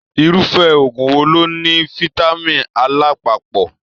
Irufẹ òògùn wò ló ní fitami A lapapọ?